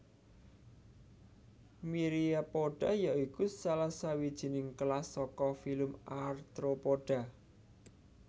Myriapoda ya iku salah sawijiné kelas saka filum Arthropoda